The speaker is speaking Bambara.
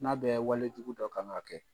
N'a bɛ walejugu dɔ kan k'a kɛ.